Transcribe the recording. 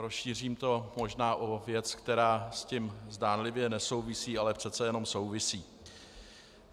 Rozšířím to možná o věc, která s tím zdánlivě nesouvisí, ale přece jenom souvisí.